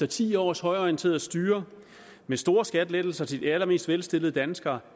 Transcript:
ti års højreorienteret styre med store skattelettelser til de allermest velstillede danskere